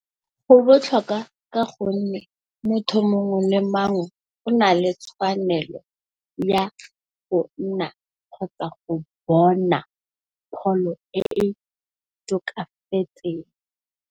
Go botlhokwa ka gonne, motho mongwe le mang o na le tshwanelo ya go nna le kgotsa go bona pholo e e tokafatseng.